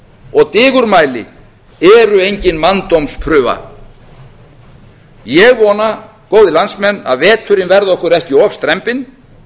og digurmæli eru engin manndómsprufa ég vona góðir landsmenn að veturinn verði okkur ekki of strembinn